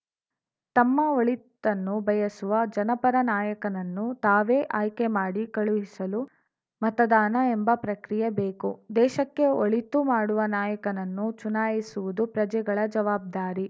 ತಮ್ಮ ಒಳಿತನ್ನು ಬಯಸುವ ಜನಪರ ನಾಯಕನನ್ನು ತಾವೇ ಆಯ್ಕೆ ಮಾಡಿ ಕಳಿಸಲು ಮತದಾನ ಎಂಬ ಪ್ರಕ್ರಿಯೆ ಬೇಕು ದೇಶಕ್ಕೆ ಒಳಿತು ಮಾಡುವ ನಾಯಕನನ್ನು ಚುನಾಯಿಸುವುದು ಪ್ರಜೆಗಳ ಜವಾಬ್ದಾರಿ